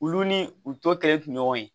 Olu ni u tɔ kɛlen tɛ ɲɔgɔn ye